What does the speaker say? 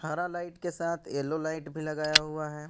हरा लाइट के साथ येलो लाइट भी लगाया हुआ है।